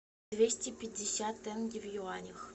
двести пятьдесят тенге в юанях